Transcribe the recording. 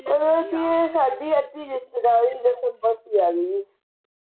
ਸਾਡੀ ਅੱਧੀ ਰਿਸ਼ਤੇਦਾਰੀ ਦਸੰਬਰ ਵਿਚ ਆ ਗੀ ਓ